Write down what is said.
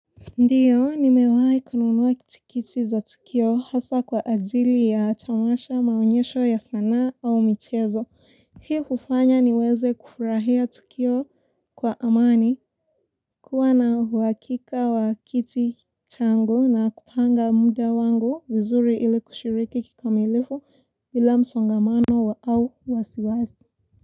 Ndiyo, nimewahi kununuwa tikiti za tukio hasa kwa ajili ya tamasha maonyesho ya sanaa au michezo. Hii hufanya niweze kufurahia tukio kwa amani kuwa na uwakika wa kiti changu na kupanga muda wangu vizuri ili kushiriki kikamilifu ila msongamano wa au wasiwasi.